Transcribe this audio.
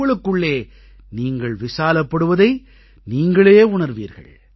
உங்களுக்குள்ளே நீங்கள் விசாலப்படுவதை நீங்களே உணர்வீர்கள்